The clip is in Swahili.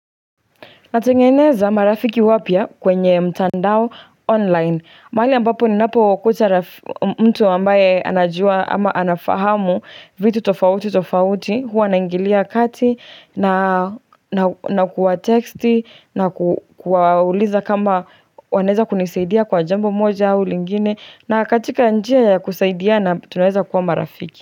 Natengeneza marafiki wapya kwenye mtandao online. Mahali ambapo ninapokuta mtu ambaye anajua ama anafahamu vitu tofauti tofauti. Huwa naingilia kati na kuwa teksti na kuwauliza kama wanaeza kunisaidia kwa jambo moja au lingine na katika njia ya kusaidiana tunaweza kuwa marafiki.